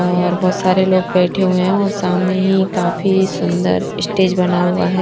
और बहुत सारे लोग बैठे हुए हैं और सामने ही काफी सुंदर ये स्टेज बना हुआ है।